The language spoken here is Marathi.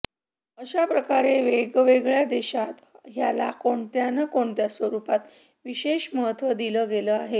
अश्या प्रकारे वेगवेगळ्या देशात ह्याला कोणत्या न कोणत्या स्वरूपात विशेष महत्त्व दिलं गेलं आहे